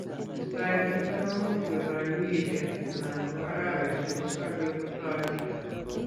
Testaet nito komuch kotoi wikishek anan ko araweshek ko kabek kotoi ito.